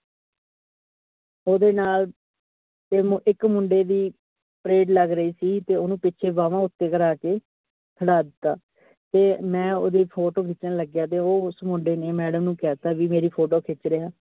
ਓਹਦੇ ਨਾਲ ਮਇਕ ਮੁੰਡੇ ਦੀ pared ਲੱਗ ਰਹੀ ਸੀ ਤੇ ਓਹਨੂੰ ਪਿਛੇ ਬਾਹਾਂ ਉਤੇ ਕਰਾਕੇ ਖੜਾ ਦਿਤਾ ਤੇ ਮੈਂ ਓਹਦੀ photo ਖਿੱਚਣ ਲਗਿਆ, ਤੇ ਉਹ ਉਸ ਮੁੰਡੇ ਨੇ madam ਨੂੰ ਕਹਿ ਤਾ ਕਿ ਮੇਰੀ photo ਖਿੱਚ ਰਿਹਾ।